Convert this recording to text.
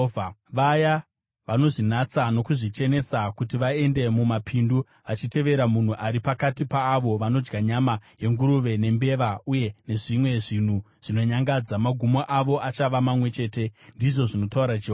“Vaya vanozvinatsa nokuzvichenesa kuti vaende mumapindu, vachitevera munhu ari pakati paavo vanodya nyama yenguruve nembeva uye nezvimwe zvinhu zvinonyangadza, magumo avo achava mamwe chete,” ndizvo zvinotaura Jehovha.